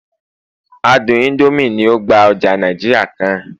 àádùn Indomie ni o gba oja Naijiria kan